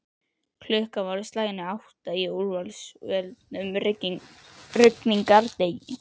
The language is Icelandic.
Klukkan var á slaginu átta á úrsvölum rigningardegi.